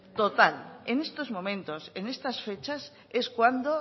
total en estos momentos en estas fechas es cuando